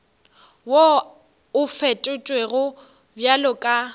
wo o fetotšwego bjalo ka